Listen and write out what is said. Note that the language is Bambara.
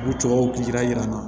U cɛw kira yira an na